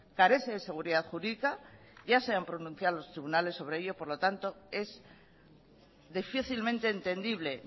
carece de seguridad jurídica ya se han pronunciado los tribunales sobre ello por lo tanto es difícilmente entendible